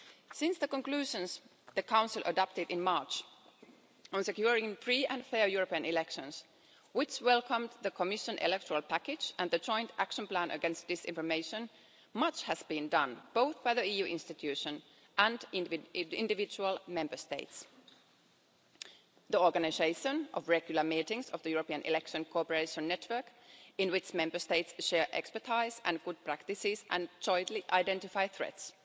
Since the conclusions the Council adopted in March on securing free and fair European elections, which welcomed the Commission electoral package and the Joint Action Plan Against Disinformation, much has been done both by the EU institutions and in individual Member States the organisation of regular meetings of the European Election Cooperation Network, in which Member States share expertise and good practice and jointly identify threats